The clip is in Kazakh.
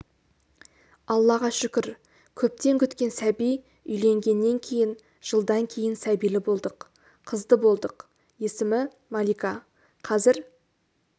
аллаға шүкір көптен күткен сәби үйленгеннен кейін жылдан кейін сәбилі болдық қызды болдық есімі малика қазір